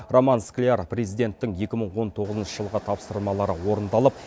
роман скляр президенттің екі мың он тоғызыншы жылғы тапсырмалары орындалып